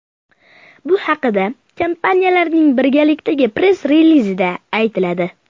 Bu haqda kampaniyalarning birgalikdagi press-relizida aytiladi.